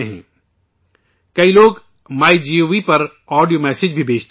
بہت سے لوگ مائی گوو پر آڈیو میسیج بھی بھیجتے ہیں